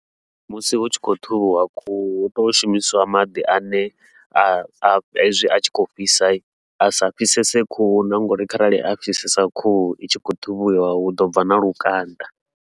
Musi hu tshi khou ṱhuvhiwa khuhu, hu tea u shumisiwa maḓi ane a a hezwi a tshi khou fhisa a sa fhisese khuhu na nga uri kharali a fhisesa khuhu i tshi khou ṱhuvhiwa huḓo bva na lukanda.